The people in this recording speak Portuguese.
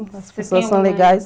As pessoas são legais.